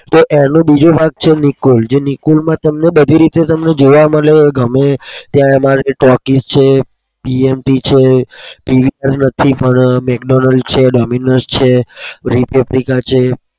તો એનો બીજો ભાગ છે નિકોલ જે નિકોલમાં તમને છે.